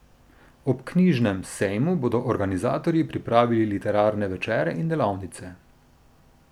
Ob knjižnemu sejmu bodo organizatorji pripravili literarne večere in delavnice.